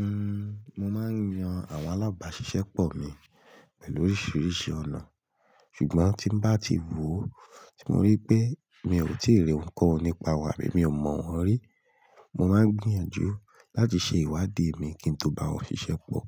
Uhm, mo máa ń yan àwọn alábàáṣiṣẹ́pọ̀ mi pẹ̀lú oríṣiríṣi ọ̀nà. Ṣùgbọ́n tí bá ti wòó, tí mo rí pé mi ò tíì rí ohunkóhun nípa ìwà mi ò mọ̀ wọ́n rí, mo máa ń gbìyànjú láti ṣe ìwádìí mi kí n tó bá wọn ṣiṣẹ́pọ̀.